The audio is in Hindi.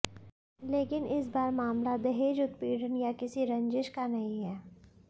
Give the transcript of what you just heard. लेकिन इस बार मामला दहेज उत्पीड़न या किसी रंजिश का नहीं है